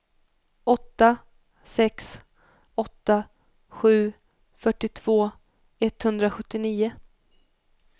åtta sex åtta sju fyrtiotvå etthundrasjuttionio